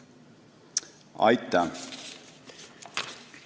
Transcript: Aitäh!